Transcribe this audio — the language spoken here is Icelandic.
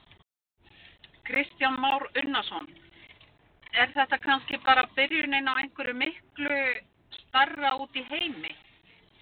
Kristján Már Unnarsson: Er þetta kannski bara byrjunin á einhverju miklu stærra úti í heimi?